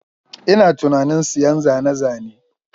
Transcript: Ina tunanin siyan zane-zane